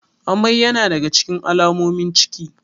Amai yana daga cikin alamomin ciki.